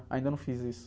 Ainda não fiz isso.